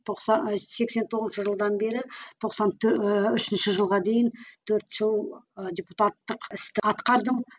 сексен тоғызыншы жылдан бері тоқсан ііі үшінші жылға дейін төрт жыл ы депутатық істі атқардым